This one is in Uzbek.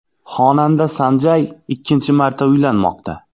Xonanda San Jay ikkinchi marta uylanmoqda.